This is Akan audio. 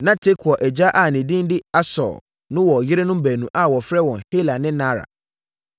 Na Tekoa agya a ne din de Ashur no wɔ yerenom baanu a wɔfrɛ wɔn Hela ne Naara.